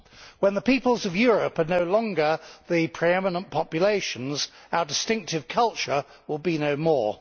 When the peoples of Europe are no longer the pre eminent populations our distinctive culture will be no more.